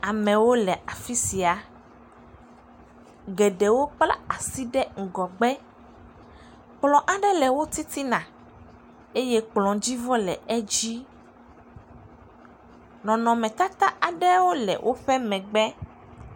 Amewo le afi sia, geɖewo kpla asi ɖe ŋgɔgbe, kplɔ aɖe le wo titina eye kplɔdzivɔ le edzi, nɔnɔmetata aɖewo le woƒe megbe.